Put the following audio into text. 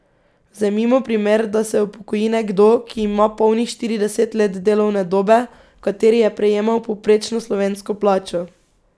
Vzemimo primer, da se upokoji nekdo, ki ima polnih štirideset let delovne dobe, v kateri je prejemal povprečno slovensko plačo.